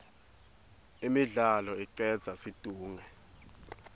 imidlalo icedza situnge